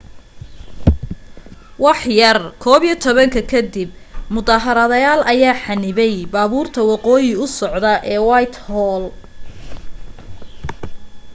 waxyar 11:00 ka dib mudaharaadayaal ayaa xanibay baabuurta waqooyi u socda ee whitehall